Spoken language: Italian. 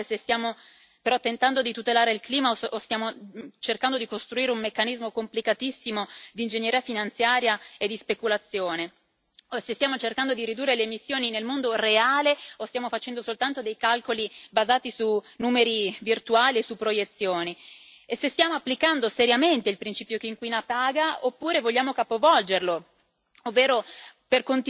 Io personalmente mi sono chiesta più volte se stiamo però tentando di tutelare il clima o stiamo cercando di costruire un meccanismo complicatissimo di ingegneria finanziaria e di speculazione, se stiamo cercando di ridurre le emissioni nel mondo reale o stiamo facendo soltanto dei calcoli basati su numeri virtuali e su proiezioni, se stiamo applicando seriamente il principio chi inquina paga, oppure vogliamo capovolgerlo